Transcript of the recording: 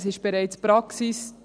Es ist bereits Praxis.